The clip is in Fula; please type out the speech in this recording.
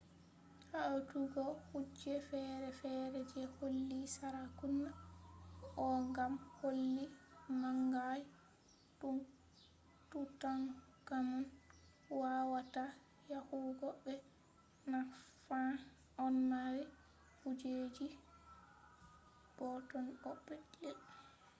hawtugo kuje fere-fere je koli sarakuna ko gam koli manga je tutankhamun wawata yahugo mai naffan ɗon mari kujeji boɗɗon bo'o petel